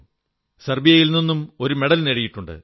സെർബ്ബിയയിൽ നിന്നും ഒരു മെഡൽ നേടിയിട്ടുണ്ട്